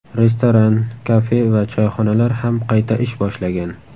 Restoran, kafe va choyxonalar ham qayta ish boshlagan.